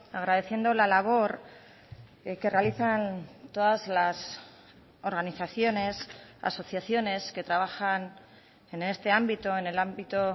agradeciendo la labor que realizan todas las organizaciones asociaciones que trabajan en este ámbito en el ámbito